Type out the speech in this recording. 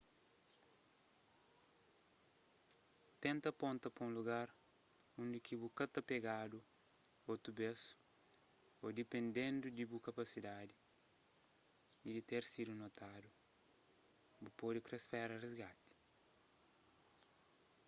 tenta ponta pa un lugar undi ki bu ka ta pegadu otu bês ô dipendendu di bu kapasidadi y di ter sidu notadu bu pode kre spera risgati